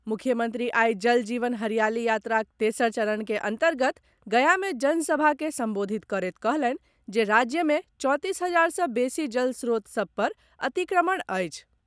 मुख्यमंत्री आई जल जीवन हरियाली यात्राक तेसर चरण के अन्तर्गत गया मे जन सभा के संबोधित करैत कहलनि जे राज्य मे चौंतीस हजार सँ बेसी जल स्त्रोत सभ पर अतिक्रमण अछि।